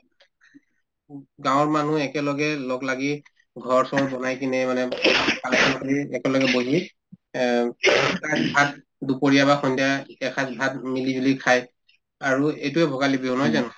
উব গাঁৱৰ মানুহ একেলগে লগলাগি ঘৰ-চৰ বনাই কিনে মানে আলোচনা কৰি একেলগে বহি এহ্ দুপৰীয়া বা সন্ধিয়া এসাজ ভাত মিলিজুলি খাই আৰু এইটোয়ে ভোগালী বিহু নহয় জানো